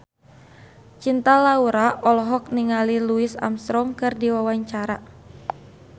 Cinta Laura olohok ningali Louis Armstrong keur diwawancara